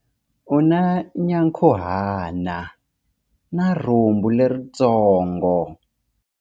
U na nyankhuhana na rhumbu leritsongo.